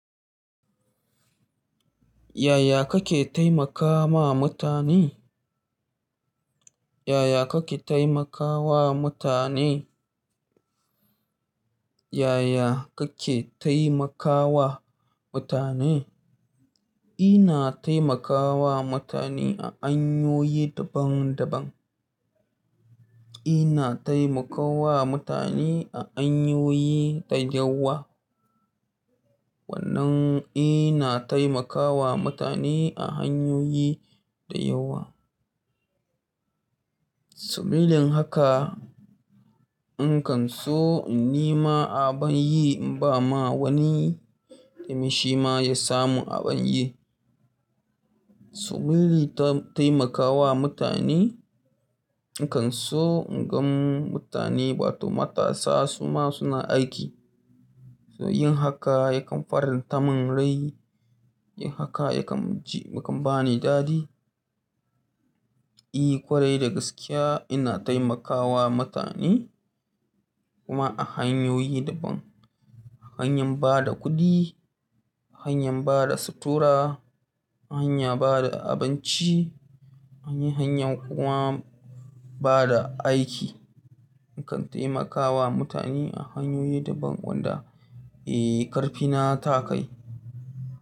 Yaya kake taimakama mutane? Yaya kake taimakawa mutane? Yaya kake taimakawa mutane? Ina taimakawa mutane a hanyoyi daban daban. Ina taimakawa mutane a hanyoyi da yawa. Wannan ina taimakawa mutane a hanyoyi da yawa. Dalilin haka in kan so in nima abin yi ba ma wani, da mishi ma ya samu abin yi. Su lili ta taimakawa mutane. In kan so in gan mutane wato matasa su ma suna aiki. So yin haka ya kan faranta min rai. Yin haka ya kan ji, ya kan ba ni dadi. I ƙwarai da gaskiya ina taimakawa mutane kuma a hanyoyi daban. A hanyar bada kuɗi, a hanyar bada sutura, a hanya bada abinci, a hanyar kuwa bada aiki. In kan taimakawa mutane a hanyoyi daban wanda, eh ƙarfi na ta kai.